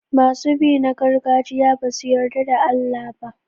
Masu bi na gargajiya ba su yarda da Allah ba.